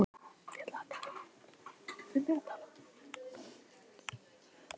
En hefði ekki verið gaman að fara út á land og mæta litlu liði fyrst?